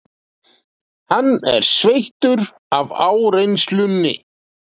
Hann er sveittur af áreynslunni.